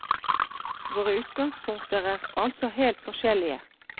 Våre utgangspunkter er altså helt forskjellige.